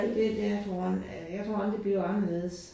Det det har du rand øh jeg tror aldrig det bliver anderledes